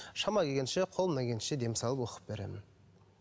шама келгенше қолымнан келгенше дем салып оқып беремін